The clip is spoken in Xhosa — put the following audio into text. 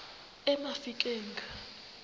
emafikeng